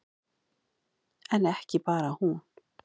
En ekki bara hún.